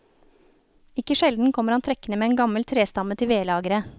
Ikke sjelden kommer han trekkende med en gammel trestamme til vedlageret.